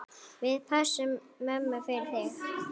Við pössum mömmu fyrir þig.